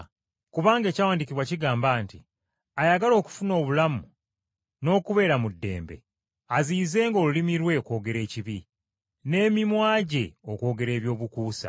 Kubanga ekyawandiikibwa kigamba nti, “Ayagala okufuna obulamu n’okubeera mu ddembe, aziyizenga olulimi lwe okwogera ekibi, n’emimwa gye okwogera ebyobukuusa.